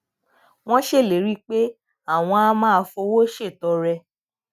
wón ṣèlérí pé àwọn á máa fowó ṣètọrẹ